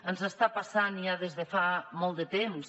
ens està passant ja des de fa molt de temps